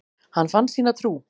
Hann fann sína trú.